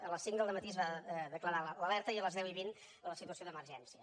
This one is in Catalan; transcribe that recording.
a les cinc del dematí es va declarar l’alerta i a les deu vint la situació d’emergència